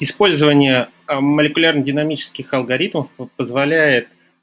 использование молекулярной динамических алгоритмов позволяет